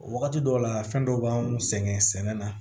Wagati dɔw la fɛn dɔw b'anw sɛgɛn sɛnɛ na